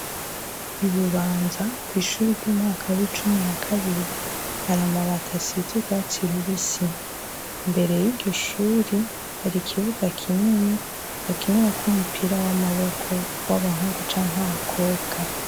Ibubanza kw'ishure ry'umwaka w'icumi na kabiri hari amabati asize urwatsi rubisi ,imbere y'iryo shure hari ikibuga kinini bakinirako umupira w'amaboko w'abahungu cank'abakobwa.